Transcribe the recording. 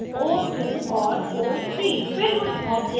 जैसे o1 o2 और o3